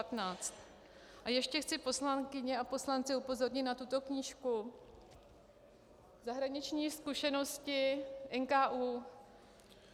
A ještě chci poslankyně a poslance upozornit na tuto knížku - Zahraniční zkušenosti NKÚ.